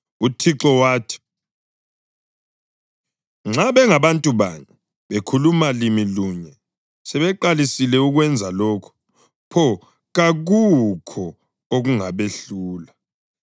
UThixo wathi, “Nxa bengabantu banye bekhuluma limi lunye sebeqalisile ukwenza lokhu, pho kakukho okungabehlula.